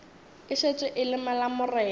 e šetše e le malamorena